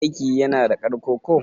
aiki yana da ƙarko ko?